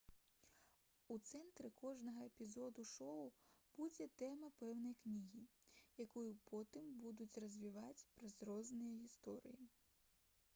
у цэнтры кожнага эпізоду шоу будзе тэма пэўнай кнігі якую потым будуць развіваць праз розныя гісторыі